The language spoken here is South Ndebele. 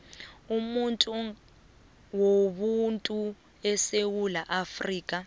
wobuntu esewula afrika